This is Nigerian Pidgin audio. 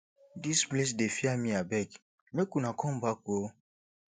dis place dey fear me abeg make una come back ooo